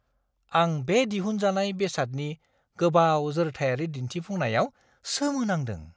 आं बे दिहुनजानाय बेसादनि गोबाव जोरथायारि दिन्थिफुंनायाव सोमोनांदों!